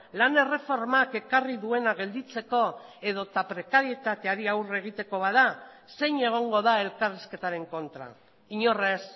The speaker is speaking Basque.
lan erreformak ekarri duena gelditzeko edo prekarietateari aurre egiteko bada zein egongo da elkarrizketaren kontra inor ez